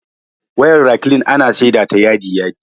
Wayar raklin ana saida ta yadi yadi